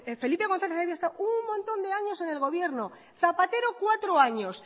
felipe gonzález había estado un montón de años en el gobierno zapatero cuatro años